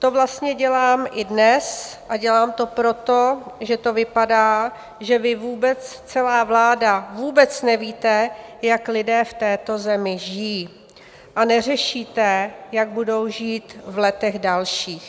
To vlastně dělám i dnes, a dělám to proto, že to vypadá, že vy vůbec, celá vláda, vůbec nevíte, jak lidé v této zemi žijí, a neřešíte, jak budou žít v letech dalších.